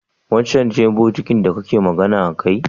wancan ce bokitin da kake magana akai?